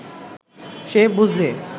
সে বুঝলে